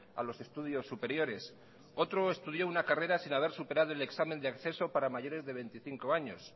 a los estudios superiores otro estudió una carrera sin haber superado el examen de acceso para mayores de veinticinco años